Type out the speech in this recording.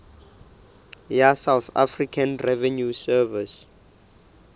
ya south african revenue service